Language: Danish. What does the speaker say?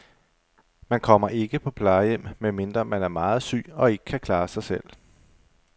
Man kommer ikke på plejehjem, medmindre man er meget syg og ikke kan klare sig selv.